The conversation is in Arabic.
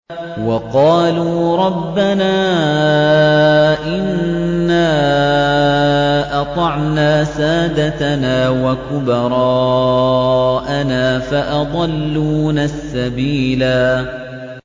وَقَالُوا رَبَّنَا إِنَّا أَطَعْنَا سَادَتَنَا وَكُبَرَاءَنَا فَأَضَلُّونَا السَّبِيلَا